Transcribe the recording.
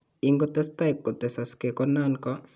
Ingotesetai kotesaksei ko nan ko